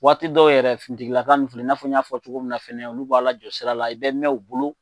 Waati dɔw yɛrɛ finitigilaka ninnu filɛ, i n'a fɔ n y'a fɔ cogo min na fɛnɛ olu b'a la jɔ sira la i bɛ mɛɛn u bolo.